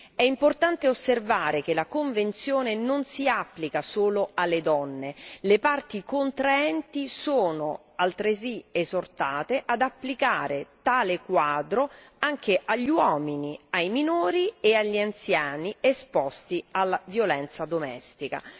È importante osservare che la convenzione non si applica solo alle donne, le parti contraenti sono altresì esortate ad applicare tale quadro anche agli uomini, ai minori e agli anziani esposti alla violenza domestica.